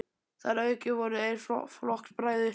Þar að auki voru þeir flokksbræður.